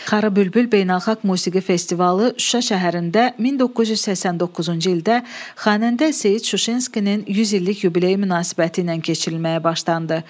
Xarı bülbül beynəlxalq musiqi festivalı Şuşa şəhərində 1989-cu ildə xanəndə Seyid Şuşinskinin 100 illik yubileyi münasibətilə keçirilməyə başlandı.